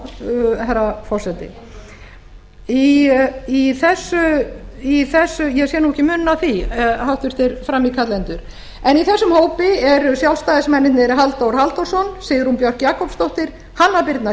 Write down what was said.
já herra forseti ég sé nú ekki muninn á því háttvirtur frammíkallendur en í þessum hópi eru sjálfstæðismennirnir halldór halldórsson sigrún björk jakobsdóttir hanna birna